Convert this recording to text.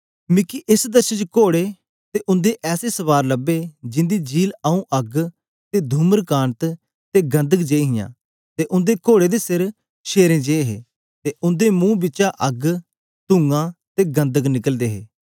मिकी एस दर्शन च कोड़े ते उंदे ऐसे सवार लब्बे जिंदी झील आऊँ अग्ग ते धूम्रकान्त ते गंधक जेई हियां ते ओनें कोड़े दे सिर शेरें जे हे ते उंदे मुंह बिचा अग्ग तुंआ ते गंधक निकलदे हे